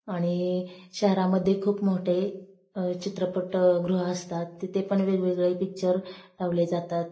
आणि शहरामध्ये खूप मोठे चित्रपट गृह असतात तिथे पण खूप वेगवेगळे पिक्चर लावले जातात.